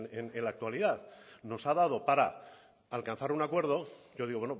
en la actualidad nos ha dado para alcanzar un acuerdo yo digo